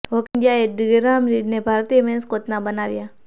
hockey ઇન્ડિયાઍ Graham રીડને ભારતીય મેન્સ ટીમના કોચ બનાવ્યા